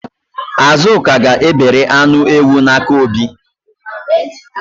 Azụka ga-ebere anụ ewu n'aka Obi